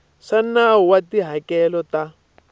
swa nawu wa tihakelo ta